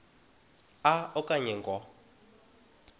a okanye ngo